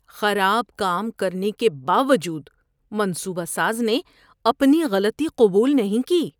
خراب کام کرنے کے باوجود منصوبہ ساز نے اپنی غلطی قبول نہیں کی۔